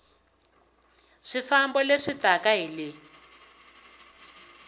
swifambo leswi taka hi le